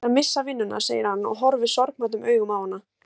Ég er að missa vinnuna, segir hann og horfir sorgmæddum augum á hana.